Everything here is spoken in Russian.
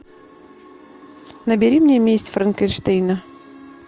набери мне месть франкенштейна